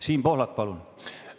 Siim Pohlak, palun!